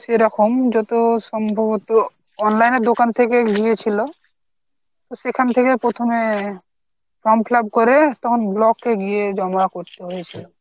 এরকম যত সম্ভবত online এর দোকান থেকে গিয়েছিলো, সেখান থেকে প্রথমে from fill up করে তখন block এ গিয়ে জমা করতে হয়েছিল